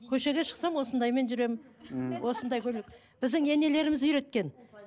көшеге шықсам осындаймен жүремін мхм осындай көйлек біздің енелеріміз үйреткен